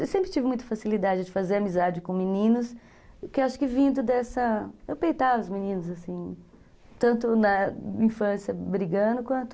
Eu sempre tive muita facilidade de fazer amizade com meninos, porque acho que vindo dessa... Eu peitava os meninos, assim, tanto na infância brigando, quanto...